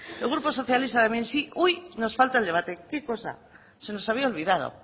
el grupo socialista también uy nos falta el debate qué cosa se nos había olvidado